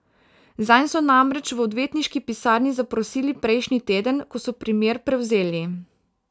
Zanj so namreč v odvetniški pisarni zaprosili prejšnji teden, ko so primer prevzeli.